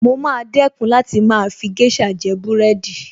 Mo maa dẹ́kun láti máa fi géṣà jẹ búrẹ́dì